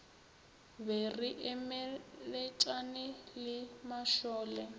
be re emeletšane le mašole